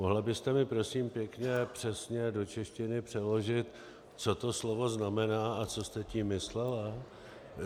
Mohla byste mi prosím pěkně přesně do češtiny přeložit, co to slovo znamená a co jste tím myslela?